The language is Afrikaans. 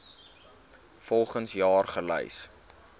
volgens jaar gelys